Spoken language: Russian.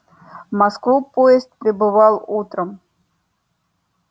в москву поезд прибывал утром